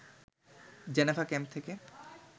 Geneva camp থেকে